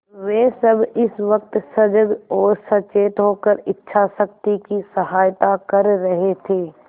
वे सब इस वक्त सजग और सचेत होकर इच्छाशक्ति की सहायता कर रहे थे